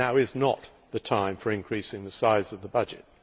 Now is not the time for increasing the size of the budget.